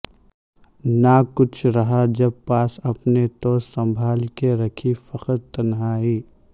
نہ کچھ رہا جب پاس اپنے تو سنبھال کے رکھی فقط تنہائی